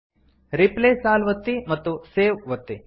replace all ಒತ್ತಿ ಮತ್ತು save ಒತ್ತಿ